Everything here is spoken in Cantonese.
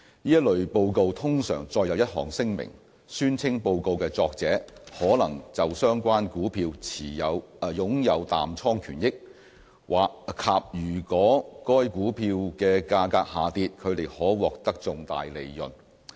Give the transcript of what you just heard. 這類報告通常載有一項聲明，宣稱報告的作者可能就相關股票擁有淡倉權益，以及如果該股票的價格下跌，他們可獲得重大利潤。